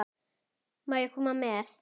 Má ég koma með?